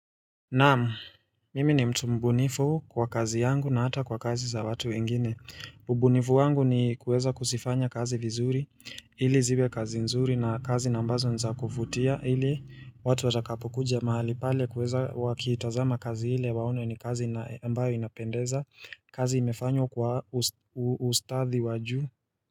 Naam, mimi ni mtu mbunifu kwa kazi yangu na hata kwa kazi za watu wengine. Ubunifu wangu ni kuweza kusifanya kazi vizuri, ili ziwe kazi nzuri na kazi nambazo nza kufutia, ili watu watakapo kuja mahali pale kuweza wakitazama kazi hile waone ni kazi ambayo inapendeza, kazi imefanywa kwa ustadhi waju.